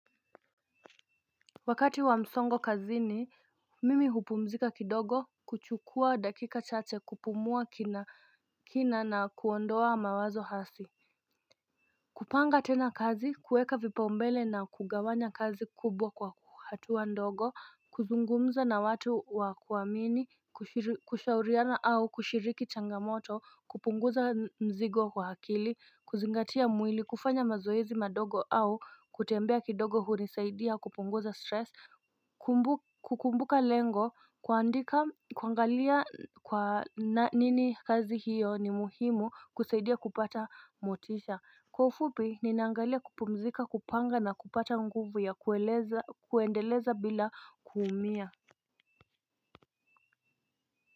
Wakati wa msongo kazi ni mimi hupumzika kidogo kuchukua dakika chache kupumua kina kina na kuondoa mawazo hasi kupanga tena kazi kuweka vipa umbele na kugawanya kazi kubwa kwa hatuwa ndogo kuzungumza na watu wa kuamini kushauriana au kushiriki changamoto kupunguza mzigo wa akili kuzingatia mwili kufanya mazoezi madogo au kutembea kidogo hunisaidia kupunguza stress. Kukumbuka lengo kuandika kuangalia kwa nini kazi hiyo ni muhimu kusaidia kupata motisha. Kwa ufupi, ninaangalia kupumzika, kupanga na kupata nguvu ya kuendeleza bila kuumia.